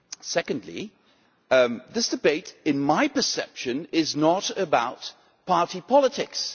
Secondly, this debate in my perception is not about party politics.